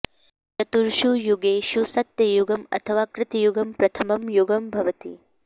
चतुर्षु युगेषु सत्ययुगं अथवा कृतयुगं प्रथमं युगं भवति